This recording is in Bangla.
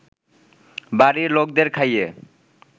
বাড়ির লোকদের খাইয়ে